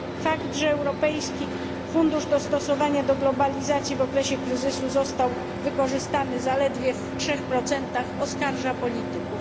Fakt, że Europejski Fundusz Dostosowania do Globalizacji w okresie kryzysu został wykorzystany zaledwie w trzech procentach, oskarża polityków.